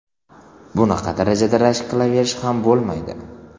Bunaqa darajada rashk qilaverish ham bo‘lmaydi.